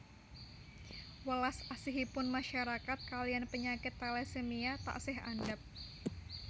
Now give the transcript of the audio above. Welas asihipun masyarakat kaliyan penyakit talasemia taksih andhap